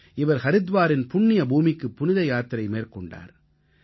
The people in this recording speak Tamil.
இவர் ஹரித்வாரின் புண்ணிய பூமிக்குப் புனித யாத்திரை மேற்கொண்டார்